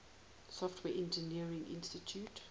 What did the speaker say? software engineering institute